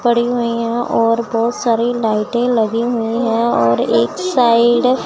पड़ी हुई हैं और बहोत सारी लाइटें लगी हुई हैं और एक साइड --